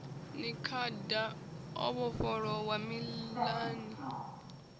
ni khada o vhofholowa mililani